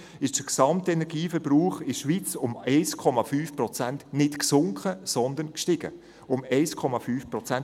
Zwischen 2000 und 2016 ist der Gesamtenergieverbrauch in der Schweiz nicht um 1,5 Prozent gesunken, sondern gestiegen – um 1,5 Prozent.